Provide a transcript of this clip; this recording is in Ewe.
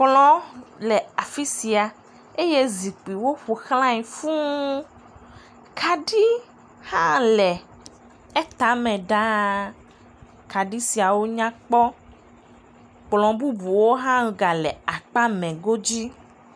Kplɔ le afi sia eye zikpuiwo ƒoxlae fũu kaɖi hã le etama ɖaa, kaɖi siawo nyakpɔ, kplɔ bubuwo hã gale akpa mee go dzi.